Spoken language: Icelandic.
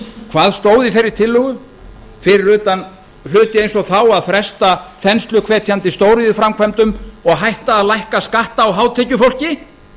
hvað stóð í þeirri tillögu fyrir utan hluti eins og þá að fresta þensluhvetjandi stóriðjuframkvæmdum og hætta að lækka skatta á hátekjufólki